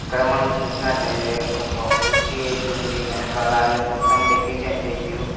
ఇక్కడ మనం చూసినట్లయితే ఒక కొచ్చి వేసి ఉంది వెనకాల మొత్తం డెకరేషన్ చేసిర్రు.